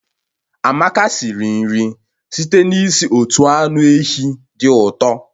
Amaka siri nri site n'isi otu anụ ehi dị ụtọ